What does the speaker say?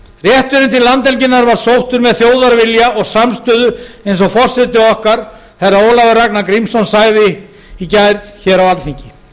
rétturinn til landhelginnar var sóttur með þjóðarvilja og samstöðu eins og forseti okkar herra ólafur ragnar grímsson sagði í gær hér á alþingi